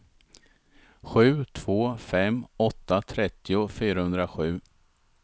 sju två fem åtta trettio fyrahundrasju